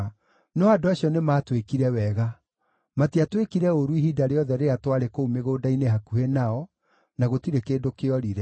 No andũ acio nĩmatwĩkire wega. Matiatwĩkire ũũru, ihinda rĩothe rĩrĩa twarĩ kũu mĩgũnda-inĩ hakuhĩ nao, na gũtirĩ kĩndũ kĩorire.